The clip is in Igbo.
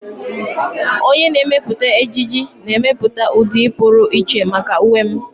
Onye na-emepụta ejiji na-emepụta ụdị pụrụ iche maka uwe m.